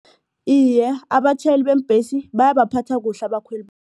Iye, abatjhayeli beembhesi bayabaphatha kuhle